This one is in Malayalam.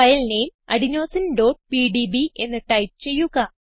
ഫയൽ നെയിം adenosineപിഡിബി എന്ന് ടൈപ്പ് ചെയ്യുക